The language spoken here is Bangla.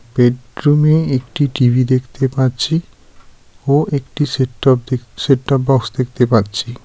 বেডরুমে একটি টিভি দেখতে পাচ্ছি ও একটি সেট টপ দেখতে সেট টপ বক্স দেখতে পাচ্ছি.